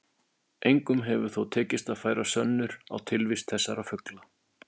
Engum hefur þó tekist að færa sönnur á tilvist þessara fugla.